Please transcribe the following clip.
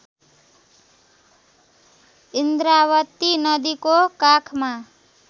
इन्द्रावती नदीको काखमा